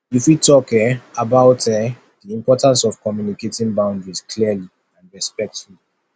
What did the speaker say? you fit talk um about um di importance of communicating boundaries clearly and respectfully